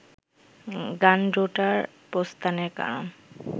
গানডোট্রার প্রস্থানের কারণ